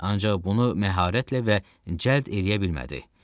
Ancaq bunu məharətlə və cəld eləyə bilmədi.